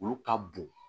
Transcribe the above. Olu ka bon